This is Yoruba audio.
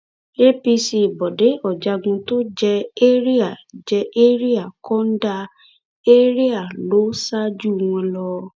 acp bọde ọjájún tó jẹ ẹrià jẹ ẹrià kọńdà area a lọ ṣáájú wọn lọ